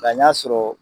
Ka ɲa sɔrɔ